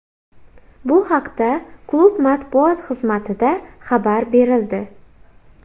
Bu haqda klub matbuot xizmatida xabar berildi .